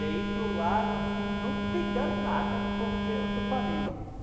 De ir para o lago assim, não pegar nada porque eu estou panema.